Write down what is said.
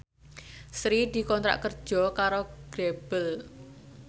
Sri dikontrak kerja karo Grebel